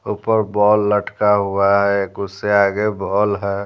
ऊपर बॉल लटका हुआ है एक उससे आगे बॉल है।